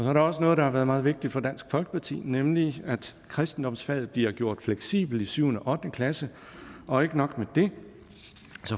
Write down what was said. er der også noget der har været meget vigtigt for dansk folkeparti nemlig at kristendomsfaget bliver gjort fleksibelt i syvende og ottende klasse og ikke nok med det vi